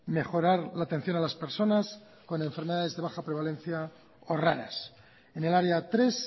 mejorar la atención a las personas con enfermedades de baja prevalencia o raras en el área tres